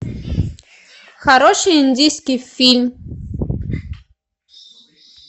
хороший индийский фильм